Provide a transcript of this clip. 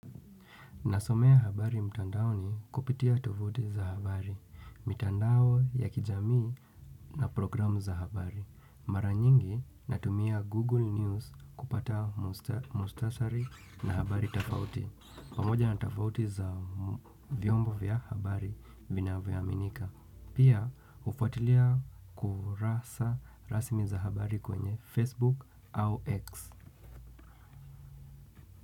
Nasomea habari mtandao kupitia tovuti za habari, mtandao ya kijamii na programu za habari. Mara nyingi natumia Google News kupata mustasari na habari tofauti. Pamoja na tofauti za vyombo vya habari vina vyoaminika. Pia ufuatilia kurasa rasmi za habari kwenye Facebook au X.